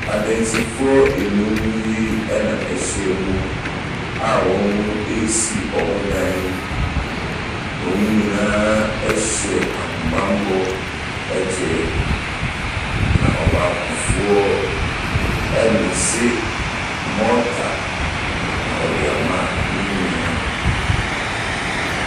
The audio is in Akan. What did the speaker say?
Adansifoɔ nnum yi na wɔahyiam a wɔresi wɔn dan. Wɔn nyinaa hyɛ ahobammɔ kyɛ, na ɔbaakofoɔ remese mɔɔta na ɔde ama ne nua.